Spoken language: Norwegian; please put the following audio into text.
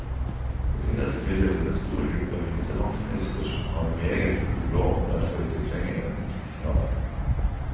Det finnes imidlertid en stor gruppe minstepensjonister som har meget god råd og derfor ikke trenger denne tusenlappen.